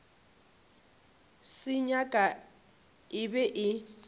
se nyaka e be e